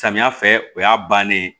Samiya fɛ o y'a bannen ye